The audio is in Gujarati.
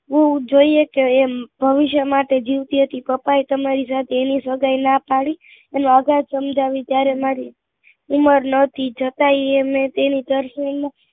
જોઈએ કે એમ ભવિષ્ય માટે જીવતી હતી પપ્પા એ તમારી સાથે એની સગાઇ ના પડી અને અગાહ સમજાવી ત્યારે મારી ઉંમર નતી છતાય અમે તેની